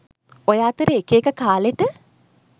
ඔය අතරේ එක එක කාලෙට